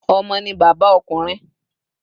Omo ni baba okunrin